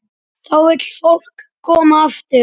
Þá vill fólk koma aftur.